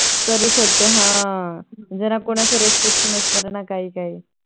करू शकतो हा जरा कोना चे काही Restriction नसत न काही काही